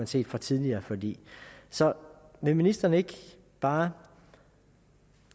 set fra tidligere forlig så vil ministeren ikke bare